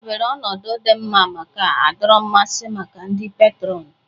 Edobere ọnọdụ di nma mana-adọrọ mmasị maka ndị peetron